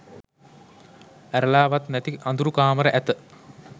ඇරලා වත් නැති අඳුරු කාමර ඇත.